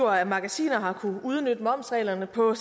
af magasiner har kunnet udnytte momsreglerne på en